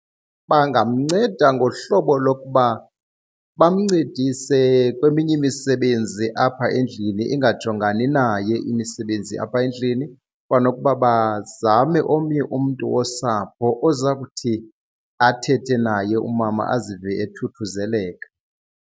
Bangamnceda ngohlobo lokuba bamncedise kweminye imisebenzi apha endlini, ingajongani naye imisebenzi apha endlini. Kwanokuba bazame omnye umntu wosapho oza kuthi athethe naye umama azive ethuthuzeleka.